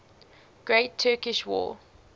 great turkish war